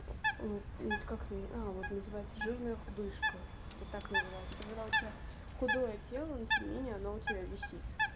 вот как она а вот называется жирная худышка это так называется это когда у тебя худое тело но тем не менее оно у тебя висит